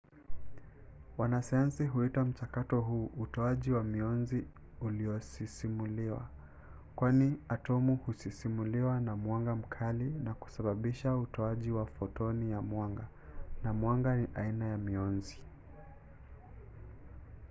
wanasayansi huita mchakato huu utoaji wa mionzi uliosisimuliwa kwani atomu husisimuliwa na mwanga mkali na kusababisha utoaji wa fotoni ya mwanga na mwanga ni aina ya mionzi